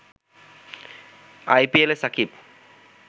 আইপিএলে সাকিব